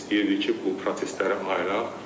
Biz istəyirdik ki, bu prosesləri ayıraq.